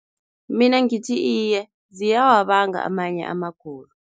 Mina ngithi iye, ziyawabanga amanye amagulo.